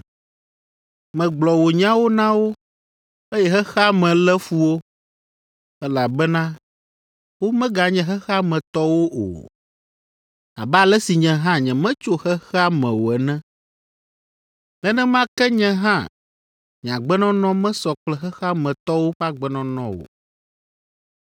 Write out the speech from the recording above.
Megblɔ wò nyawo na wo, eye xexea me lé fu wo, elabena womeganye xexea me tɔwo o, abe ale si nye hã nyemetso xexea me o ene. Nenema ke nye hã nye agbenɔnɔ mesɔ kple xexea me tɔwo ƒe agbenɔnɔ o.